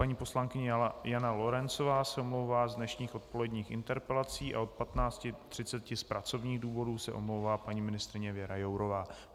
Paní poslankyně Jana Lorencová se omlouvá z dnešních odpoledních interpelací a od 15.30 z pracovních důvodů se omlouvá paní ministryně Věra Jourová.